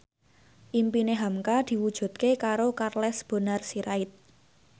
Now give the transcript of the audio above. impine hamka diwujudke karo Charles Bonar Sirait